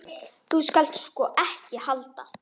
Þú skalt sko ekki halda.